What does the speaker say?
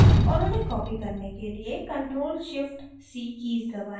और उन्हें copy करने के लिए ctrl + shift + c कीज़ दबाएँ